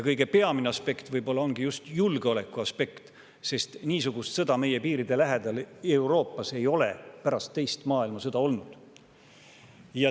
Kõige peamine ongi just julgeolekuaspekt, sest niisugust sõda ei ole meie piiride lähedal Euroopas pärast teist maailmasõda olnud.